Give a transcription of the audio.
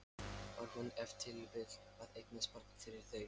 Var hún ef til vill að eignast barn fyrir þau?